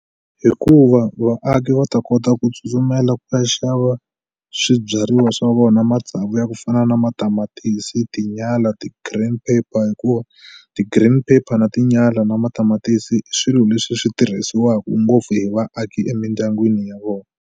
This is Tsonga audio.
Hikuva vaaki va ta kota ku tsutsumela ku ta xava swibyariwa swa vona matsavu ya ku fana na matamatisi tinyala ti-green pepper hikuva ti green pepper na tinyala na matamatisi i swilo leswi swi tirhisiwaku ngopfu hi vaaki emindyangwini ya vona.